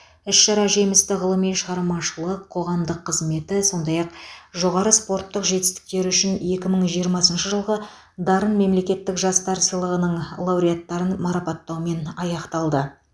іс шара жемісті ғылыми шығармашылық қоғамдық қызметі сондай ақ жоғары спорттық жетістіктері үшін екі мың жиырмасыншы жылғы дарын мемлекеттік жастар сыйлығының лауреаттарын марапаттаумен аяқталды